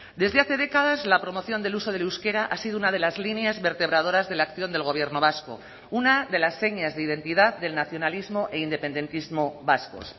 desde hace décadas la promoción del uso del euskera ha sido una de las líneas vertebradoras de la acción del gobierno vasco una de las señas de identidad del nacionalismo e independentismo vascos